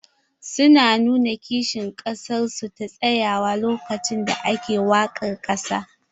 Su na nuna kishin ƙasar su ta tsayuwa lokacin da ake waƙar ƙasa.